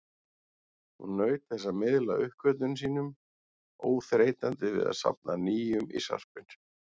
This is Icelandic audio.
Hún naut þess að miðla uppgötvunum sínum, óþreytandi við að safna nýjum í sarpinn.